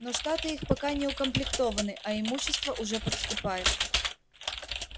но штаты их пока не укомплектованы а имущество уже поступает